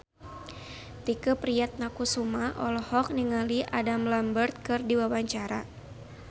Tike Priatnakusuma olohok ningali Adam Lambert keur diwawancara